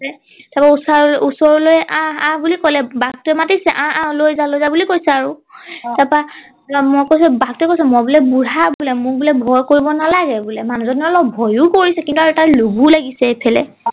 তাৰ পৰা ওচৰ ওচৰলৈ আহ আহ বুলি কলে বাঘ টোৱে মাতিছে আহ আহ লৈ যা লৈ যা বুলি কৈছে আৰু আহ তাৰ পৰা মই কৈছো বাঘ টোৱে কৈছে মই বোলে বুঢ়া বোলে মোক বোলে ভয় কৰিব নালাগে বোলে মানুহ জনে অলপ ভয়ো কৰিছে কিন্তু তাৰ লোভো লাগিছে ইফালে